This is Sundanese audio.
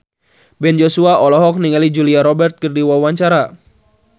Ben Joshua olohok ningali Julia Robert keur diwawancara